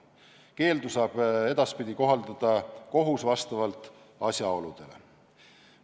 Keeldu saab edaspidi kohaldada kohus vastavalt asjaoludele.